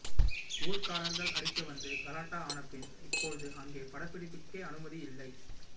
ஊர்க்காரர்கள் அடிக்கவந்து கலாட்டா ஆனபின் இப்போது அங்கே படப்பிடிப்புக்கே அனுமதி இல்லை